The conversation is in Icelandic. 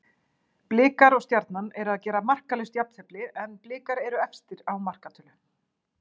Blikar og Stjarnan eru að gera markalaust jafntefli en Blikar eru efstir á markatölu.